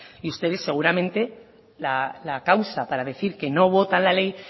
y ustedes seguramente la causa para decir que no votan la ley